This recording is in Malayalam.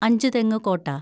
അഞ്ചുതെങ്ങു കോട്ട